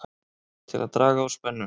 Til að draga úr spennu